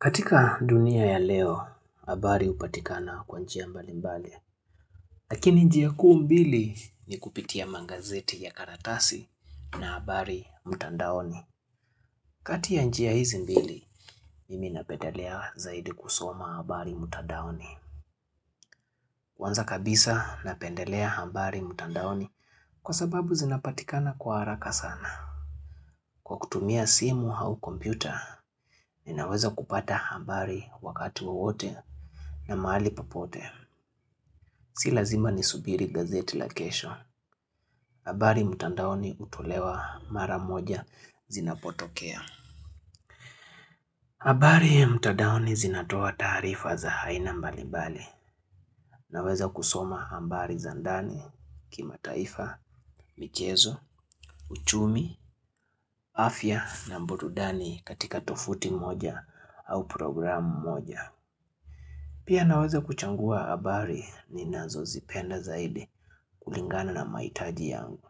Katika dunia ya leo, habari hupatikana kwa njia mbalimbali. Lakini njia kuu mbili ni kupitia magazeti ya karatasi na habari mtandaoni. Kati ya njia hizi mbili, mimi napendelea zaidi kusoma habari mtandaoni. Kwanza kabisa napendelea habari mtandaoni kwa sababu zinapatikana kwa haraka sana. Kwa kutumia simu au kompyuta, ninaweza kupata habari wakati wowote na mahali popote. Si lazima nisubiri gazeti la kesho. Habari mtandaoni hutolewa mara moja zinapotokea. Habari mtandaoni zinatoa taarifa za aina mbalimbali naweza kusoma habari za ndani kimaitaifa, michezo, uchumi, afya na burudani katika tovuti moja au programu moja. Pia naweza kuchagua habari ninazozipenda zaidi kulingana na mahitaji yangu.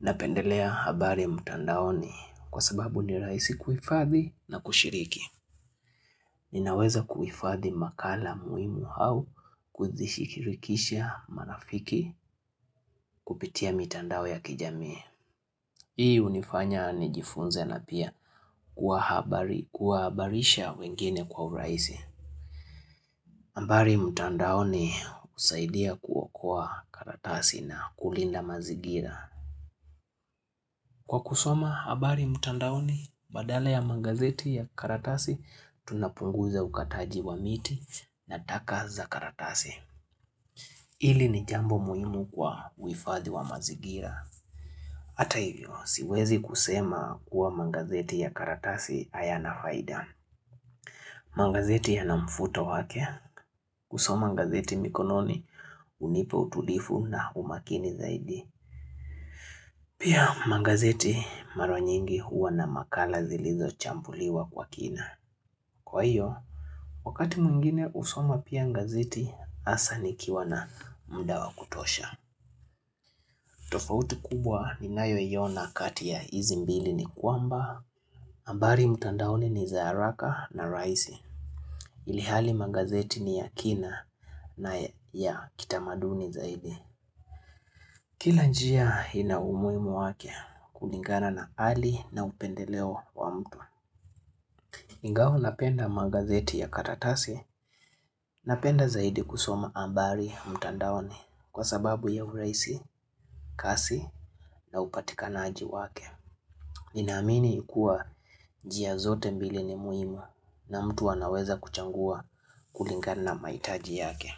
Napendelea habari mtandaoni kwa sababu nirahisi kuhifadhi na kushiriki. Ninaweza kuhifadhi makala muhimu au kuzishikirikisha marafiki kupitia mitandao ya kijamii. Hii hunifanya nijifunze na pia kuwahabarisha wengine kwa urahisi. Habaari mtandaoni husaidia kuokoa karatasi na kulinda mazigira. Kwa kusoma, habari mtandaoni, badala ya magazeti ya karatasi, tunapunguza ukataji wa miti na taka za karatasi. Hili ni jambo muhimu kwa uhufadhi wa mazigira. Hata hivyo, siwezi kusema kuwa magazeti ya karatasi hayana faida. Magazeti yana mvuto wake. Kusoma gazeti mikononi hunipa utulivu na umakini zaidi Pia magazeti mara nyingi huwa na makala zilizochambuliwa kwa kina Kwa hiyo, wakati mwingine kusoma pia gazeti hasa nikiwa na muda wa kutosha tofauti kubwa ninayoiona kati ya hizi mbili ni kwamba habari mtandaoni ni za haraka na rahisi Ilihali magazeti ni ya kina na ya kitamaduni zaidi Kila njia ina umuhimu wake kulingana na hali na upendeleo wa mtu ingawa napenda magazeti ya karatasi Napenda zaidi kusoma habari mtandaoni Kwa sababu ya urahisi, kasi na upatikanaji wake Ninaamini ya kuwa njia zote mbili ni muhimu na mtu anaweza kuchagua kulingana na mahitaji yake.